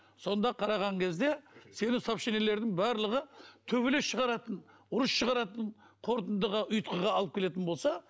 сонда қараған кезде сенің сообщениелеріңнің барлығы төбелес шығаратын ұрыс шығаратын қорытындыға ұйытқыға алып келетін болса